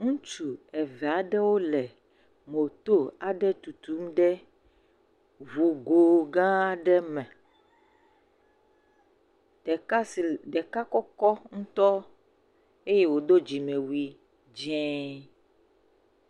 Ŋutsu eve aɖewo le mootoo aɖe tutum ɖe ŋugo gãa aɖe me. Ɖeka si le, ɖeka kɔkɔ ŋutɔ eye wòdo dzimewui dzẽe.